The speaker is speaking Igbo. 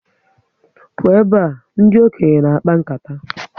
Pụọ ebe a! Ndị okenye na akpa nkata